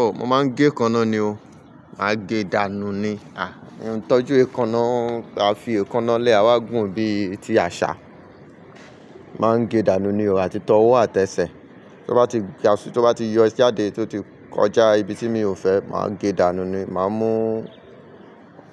Oh, mo máa ń gé èékánná ni o. Máa gé dànù ni. Mi o ìtọ́jú èékánná, a fi èékánná lẹ́ à wá gùn bíi ti àṣà. Máa ń gé dànù ni o, àti tọ́wọ́ àtẹ́sẹ̀. Tí ó bá ti yọ sí ade tó ti kọjá ibi tí mi ò fẹ́, màá gé dànù ni. Màá mú